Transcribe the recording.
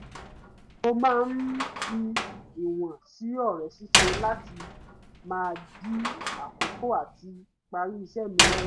mo máa ń fi ìwọ̀n sí ore ṣíṣe láti má dí àkókò àti parí iṣẹ́ mi lọ́wọ́